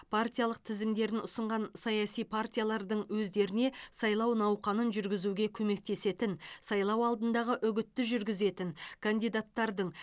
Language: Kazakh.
партиялық тізімдерін ұсынған саяси партиялардың өздеріне сайлау науқанын жүргізуге көмектесетін сайлау алдындағы үгітті жүргізетін кандидаттардың